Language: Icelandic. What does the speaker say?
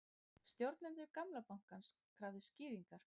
Stjórnendur gamla Landsbankans krafðir skýringa